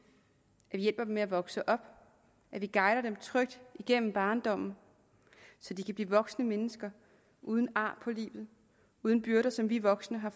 med at vokse op at vi guider dem trygt igennem barndommen så de kan blive voksne mennesker uden ar på livet uden byrder som vi voksne har